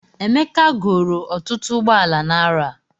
Emeka goro ọtụtụ ụgbọala n'arọ a